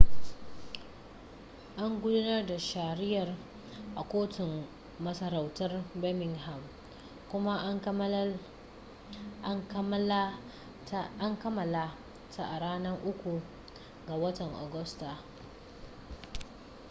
an gudanar da shari'ar a kotun masarautar birmingham kuma an kammala ta a ranar 3 ga watan agusta